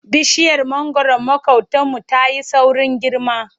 Bishiyar mangwaron maƙotanmu ta yi saurin girma.